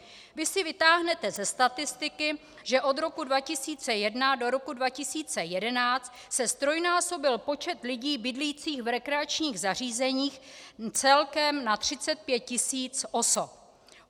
Vy si vytáhnete ze statistiky, že od roku 2001 do roku 2011 se ztrojnásobil počet lidí bydlících v rekreačních zařízeních celkem na 35 000 osob.